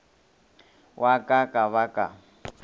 wa ka ka ba ka